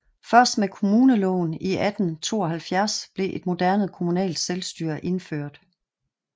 Først med kommuneloven i 1872 blev et moderne kommunalt selvstyre indført